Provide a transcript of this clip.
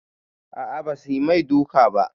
A'a basu mai duka ba